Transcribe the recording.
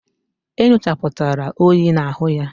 E nyochaputara oyi na-ahu ya